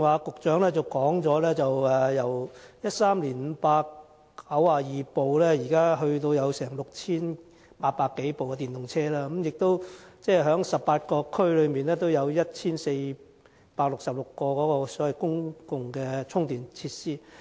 局長剛才提到由2013年的592輛，至今已增至有6800多輛電動車，而且18區中亦設有1466個公共充電設施。